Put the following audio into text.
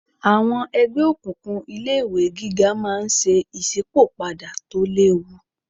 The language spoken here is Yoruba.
Àwọn ẹgbẹ́ òkùnkùn ilé ìwé gíga máa ń ṣe ìsípò padà tó léwu